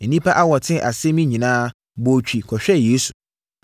Nnipa a wɔtee asɛm yi nyinaa bɔɔ twi kɔhwɛɛ Yesu.